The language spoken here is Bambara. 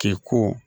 K'e ko